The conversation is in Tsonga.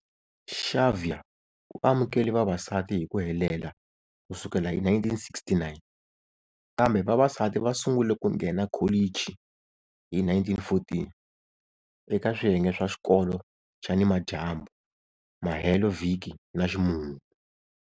Xavier u amukele vavasati hi ku helela ku sukela hi 1969, kambe vavasati va sungule ku nghena kholichi hi 1914 eka swiyenge swa xikolo xa nimadyambu, mahelovhiki na ximumu.